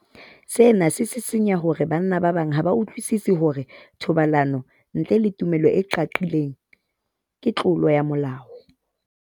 Sena se sisinya hore banna ba bang ha ba utlwisisi hore thobalano ntle le tumello e qaqileng ke tlolo ya molao.